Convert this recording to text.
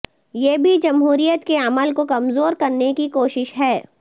یہ بھی جمہوریت کے عمل کو کمزور کرنے کی کوشش ہے